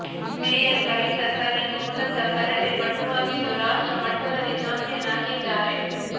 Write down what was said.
mayor Kavita Sanil ಮೂಲತಃ karate ಪಟುವಾಗಿದ್ದು ರಾಷ್ಟ್ರ ಮಟ್ಟದಲ್ಲಿ ಚಾಂಪಿಯನ್ ಆಗಿದ್ದಾರೆ